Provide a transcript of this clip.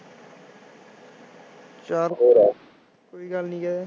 ਚੱਲ ਫਿਰ ਕੋਈ ਗੱਲ ਨੀ ਜੇ